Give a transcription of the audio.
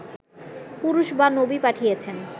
পুরুষ বা নবী পাঠিয়েছেন